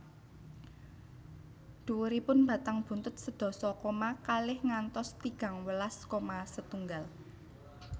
Dhuwuripun batang buntut sedasa koma kalih ngantos tigang welas koma setunggal